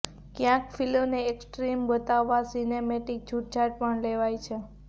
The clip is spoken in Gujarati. ક્યાંક ફિલ્મને એક્સ્ટ્રિમ બતાવવા સીનેમેટિક છૂટછાટ પણ લેવાઈ છે